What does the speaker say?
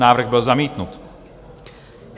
Návrh byl zamítnut.